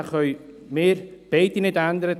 Den können wir beide nicht ändern.